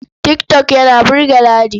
Tik tok yana burge Ladi.